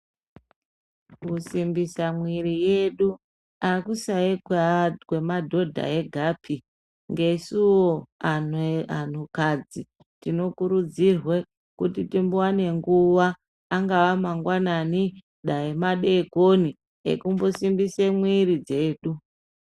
Kusimbisa mwiiri yedu hakusai kwemadhodha egapi. Nesuwo anhukadzi tinokirudzirwe kuti timbowane nguva, angaa mangwanani dai madeekoni ekumbosimbise mwiiri dzedu.